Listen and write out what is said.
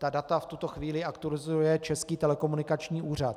Ta data v tuto chvíli aktualizuje Český telekomunikační úřad.